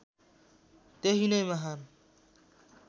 त्यही नै महान्